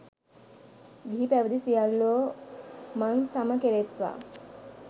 ගිහි පැවිදි සියල්ලෝ මං සම කෙරෙත්වා.